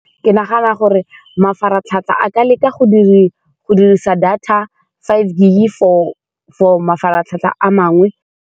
Ke nagana gore mafaratlhatlha, a ka leka go go dirisa data five gig-e for-for mafaratlhatlha a mangwe.